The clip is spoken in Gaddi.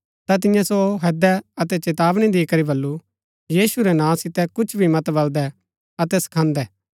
ता तिन्ये सो हैदै अतै चेतावनी दी करी बल्लू यीशु रै नां सितै कुछ भी मत बलदै अतै सखान्दै